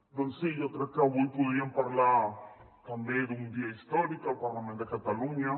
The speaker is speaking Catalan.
doncs sí jo crec que avui podríem parlar també d’un dia històric al parlament de catalunya